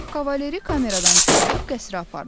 Kavalerri kameradan çıxarıb qəsrə apardılar.